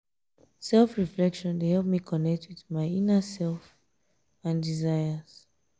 self-reflection dey help me connect with my inner um self and desires.